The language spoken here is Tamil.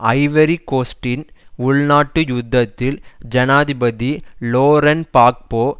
ஐவரி கோஸ்ட்டின் உள்நாட்டு யுத்தத்தில் ஜனாதிபதி லோரன் பாக்போ